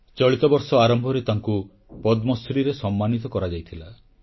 ଚଳିତ ବର୍ଷ ଆରମ୍ଭରୁ ତାଙ୍କୁ ପଦ୍ମଶ୍ରୀରେ ସମ୍ମାନିତ କରାଯାଇଥିଲା